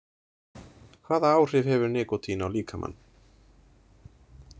Hvaða áhrif hefur nikótín á líkamann?